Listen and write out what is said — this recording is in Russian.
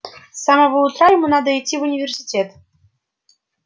с самого утра ему надо идти в университет